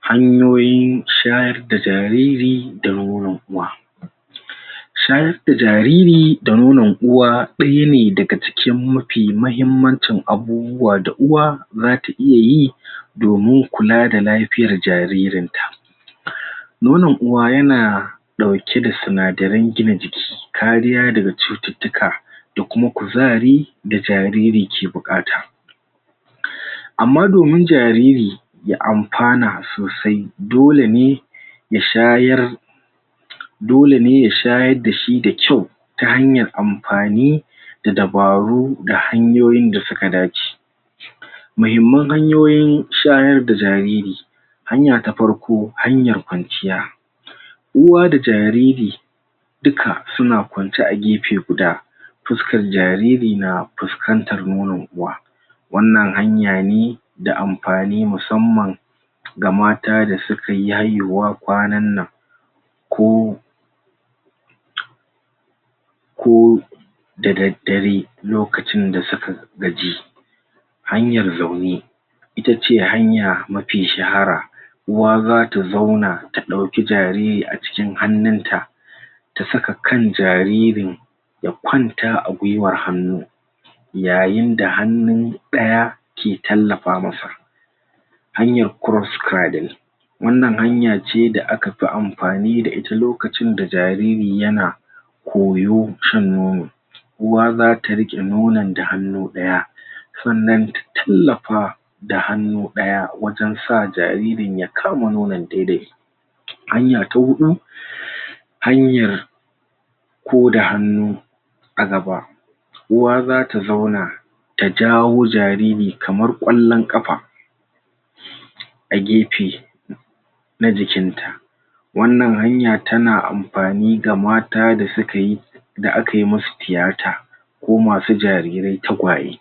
Hanyoyi shayar da jariri da nonon uwa. Shayar da jariri, da nonon uwa daya ne daga cikin mafi mahimmanci abubuwa da uwa, za ta iya yi domin kula da lafiyar jaririn ta. Nonon uwa yana dauke da sinadarin gina jiki kariya da ga cututka da kuma kuzari da jariri ke bukata. Amma domin jariri ya amfana sosai dole ne ya shayar dole ne ya shayar da shi da kyau ta hanyar amfani da dabaru, da hanyoyin da su ka dace. Mahimman hanyoyin shayar da jariri hanya ta farko, hanyar kwanciya, uwa da jariri dukka su na kwanciya a gefe guda, fuskan jariri na fuskantar nonon uwa. Wanna hanya ne, da amfani musamman ga mata da su ka yayewa kwanan nan. Ko ko dadadare, lokacin da su ka gaji, hanyar zaune itace hanya mafi shahara, uwa za ta zauna, ta dauki jariri a cikin hanunta ta saka kan jaririn ya kwanta a gwiwar hanu, yayin da hanun daya ke tallafa ma sa. Hanyar wannan hanya ce da aka fi amfani da ita lokacin da jariri ya na koyo shan nono uwa za ta rike nonon da hanu daya, tsannan ta tallafa da hanu daya wajen sa jariri ya kama nonon daidai. Hanya ta hudu, hanyar ko da hanu a gaba uwa za ta zauna ta jawo jariri kamar kwallon kafa a gefe na jikin ta. Wannan hanya ta na amfani ga mata da su ka yi, da a ka yi masu tiyata ko masu jarirei tagwaye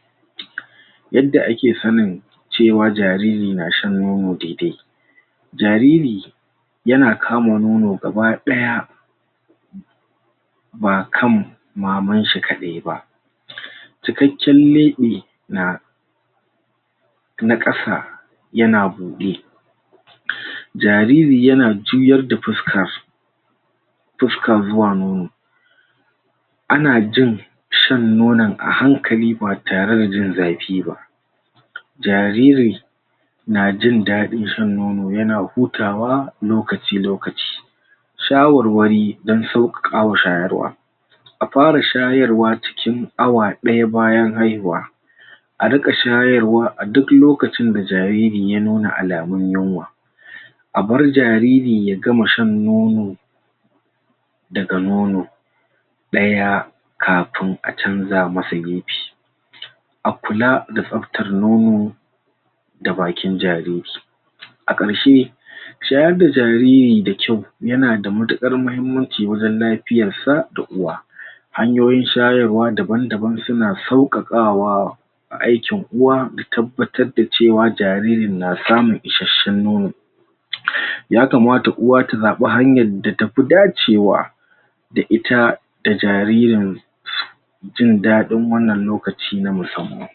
yadda a ke sanin cewa jariri na shan nono daidai jariri ya na kama nono gabadaya ba kan maman shi kadai ba. Cikaken leɓe na na kasa ya na bude jariri ya na juyar da fuska fuskan zuwa nono. A na jin shan nonon ahankali ba tare da jin zafi ba. Jariri na jindadin shan nono ya na hutawa lokaci lokaci shawarwari, dan sokakawa shayarwa a fara shayarwa cikin awa daya bayan haihuwa, a rika shayarwa a duk lokacin da jariri ya nuna alamun yunwa a bar jariri ya gama shan nono da ga nono daya kafun a canza masa gefe. A kula da sabtar nono da bakin jariri a karshe shayar da jariri da kyau ya na da matukar mahimmanci wajen lafiyar sa da uwa. Hanyoyi shayarwa daban-daban su na saukakawa a aikin aikin uwa da tabbatar da cewa jariri na samun isheshen nono. Ya kamata uwa ta zaba hanyar da tafi dacewa da ita da jaririn jin dadin wannan lokaci na musamman.